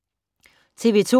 TV 2